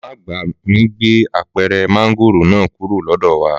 Màmá àgbà mi gbé apẹ̀rẹ̀ mángòrò náà kúrò lọ́dọ̀ wà